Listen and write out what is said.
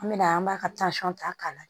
An mɛna an b'a ka ta k'a la